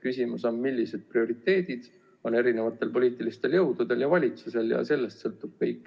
Küsimus on, millised prioriteedid on erinevatel poliitilistel jõududel ja valitsusel, ja sellest sõltub kõik.